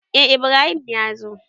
Eh Ibrahim ya zo.